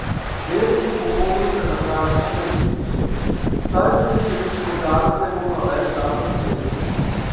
Del teh pogovorov se nahaja v sodnem spisu, saj so jim bili organi pregona ves čas na sledi.